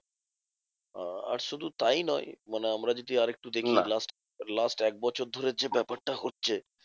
আ~ আর শুধু তাই নয় মানে আমরা যদি আরেকটু দেখি last last এক বছর ধরে যে ব্যাপারটা হচ্ছে